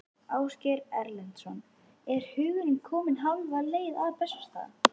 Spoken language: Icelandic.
Ásgeir Erlendsson: Er hugurinn kominn hálfa leið til Bessastaða?